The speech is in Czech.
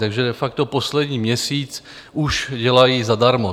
Takže de facto poslední měsíc už dělají zadarmo.